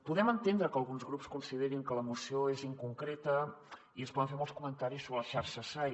podem entendre que alguns grups considerin que la moció és inconcreta i es poden fer molts comentaris sobre les xarxes sai